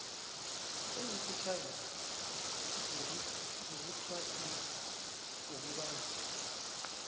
ezifitjhazana zokuthwasisa nokubandula